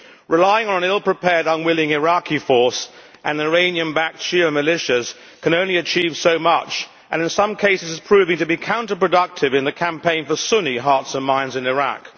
Relying on an ill prepared, unwilling Iraqi force and Iranian backed Shia militias can only achieve so much and, in some cases, is proving to be counterproductive in the campaign for Sunni hearts and minds in Iraq.